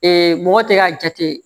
mɔgɔ tɛ k'a jate